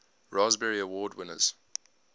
raspberry award winners